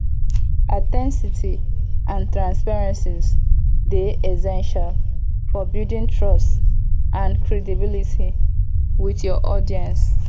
authenticity and transparency dey essential for building trust and credibility with your audience